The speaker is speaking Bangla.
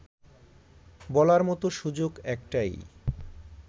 বলার মতো সুযোগ একটাই